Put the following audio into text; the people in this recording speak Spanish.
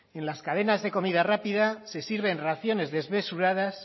en las cadenas de comida rápida se sirven raciones desmesuradas